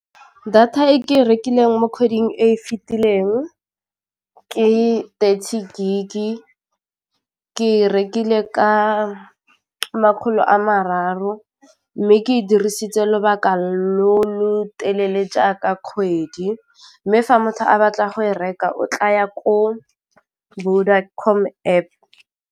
Data e ke e rekileng mo kgweding e e fitileng ke thirty gig-e, ke rekile ka makgolo a mararo o mme ke e dirisitse lobaka lo lo telele jaaka kgwedi, mme fa motho a batla go e reka o tlaya ko Vodacom App.